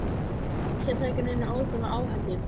Ég ætla ekki að taka neina óþarfa áhættu,